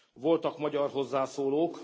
Voltak magyar hozzászólók.